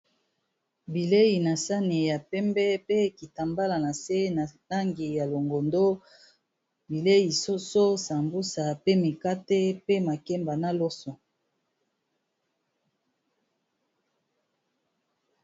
bilei na sani ya pembe pe ekita mbala na se na tangi ya longondo bilei soso sambusa pe mikate pe makemba na loso